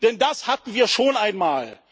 Denn das hatten wir schon einmal.